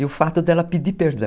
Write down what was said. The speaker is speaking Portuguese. E o fato dela pedir perdão.